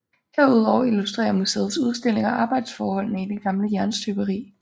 Herudover illustrerer museets udstillinger arbejdsforholdene i det gamle jernstøberi